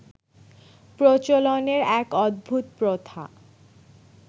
প্রচলনের এক অদ্ভুত প্রথা